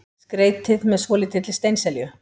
Skreytið með svolítilli steinselju.